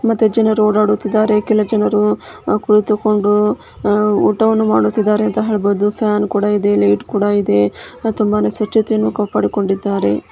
ಮತ್ತೆ ಜನರು ಓಡಾಡುತ್ತಿದ್ದಾರೆ ಕೆಲ ಜನರು ಅ ಕುಳಿತುಕೊಂಡು ಅ ಊಟವನ್ನು ಮಾಡ್ತಿದಾರೆ ಅಂತ ಹೇಳ್ಬಹುದು ಮತ್ತೆ ಫ್ಯಾನ್ ಕೂಡ ಇದೆ ಲೈಟ್ಟ್ ಕೂಡ ಇದೆ ಮತ್ತೆ ತುಂಬಾನೆ ಸ್ವಚ್ಚತೆಯನ್ನು ಕಾಪಾಡಿಕೊಂಡಿದ್ದಾರೆ.